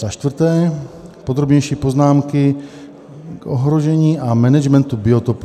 Za čtvrté, podrobnější poznámky k ohrožení a managementu biotopů.